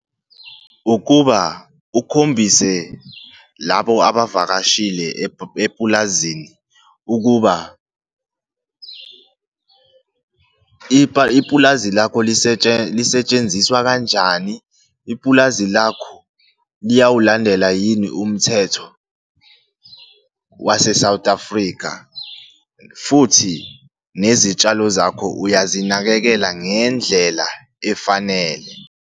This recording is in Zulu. Ukuba ukhombise labo abavakashile epulazini ukuba ipulazi lakho lisetshenziswa kanjani, ipulazi lakho liyawulandela yini umthetho waseSouth Africa, futhi nezitshalo zakho uyazinakekela ngendlela efanele.